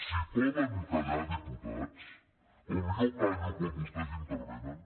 si poden callar diputats com jo callo quan vostès intervenen